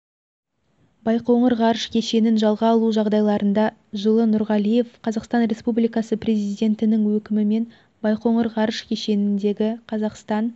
байқоңыр ғарыш кешенін жалға алу жағдайларында жылы нұрғалиев қазақстан республикасы президентінің өкімімен байқоңыр ғарыш кешеніндегі қазақстан